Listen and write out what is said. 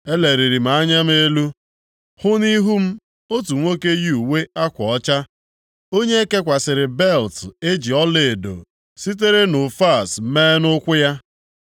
eleliri m anya m elu, hụ nʼihu m otu nwoke yi uwe akwa ọcha, onye e kekwasịrị belịt e ji ọlaedo sitere Ụfaz mee nʼukwu ya.